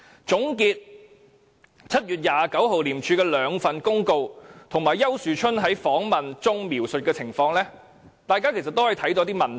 總結廉署於7月29日發出的兩份公告，以及丘樹春在訪問中描述的情況，大家其實可看出一些問題。